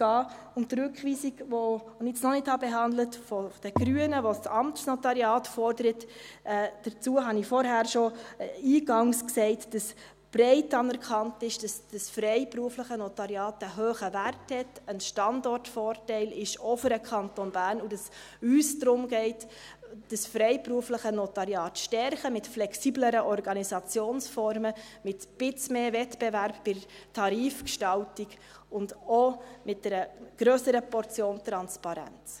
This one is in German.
Zur Rückweisung der Grünen, die ich noch nicht behandelt habe, die das Amtsnotariat fordert, habe ich eingangs schon gesagt, dass breit anerkannt ist, dass das freiberufliche Notariat einen hohen Wert hat, ein Standortvorteil ist, auch für den Kanton Bern, und dass es uns darum geht, das freiberufliche Notariat zu stärken, mit flexibleren Organisationformen, mit ein bisschen mehr Wettbewerb bei der Tarifgestaltung und auch mit einer grösseren Portion Transparenz.